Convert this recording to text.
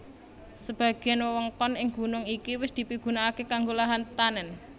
Sebagéan wewengkon ing gunung iki wis dipigunakaké kanggo lahan tetanèn